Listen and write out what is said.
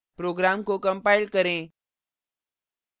program को compile करें